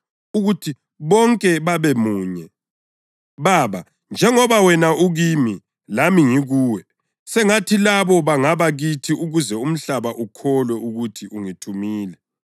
ukuthi bonke babemunye Baba njengoba wena ukimi lami ngikuwe. Sengathi labo bangaba kithi ukuze umhlaba ukholwe ukuthi ungithumile.